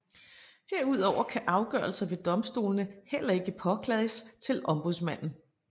Herudover kan afgørelser ved domstolene heller ikke påklages til ombudsmanden